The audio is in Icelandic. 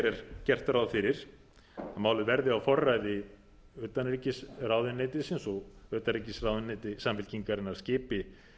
er gert ráð fyrir að málið verði á forræði utanríkisráðuneytisins og utanríkisráðuneyti samfylkingarinnar skipi